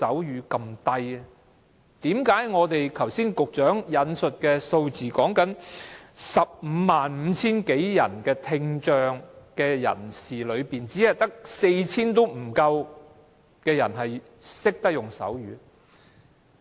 何解剛才局長引述的數字，在有關 155,000 多名聽障人士中，只有不足 4,000 人懂手語？